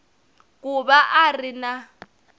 ku va a ri na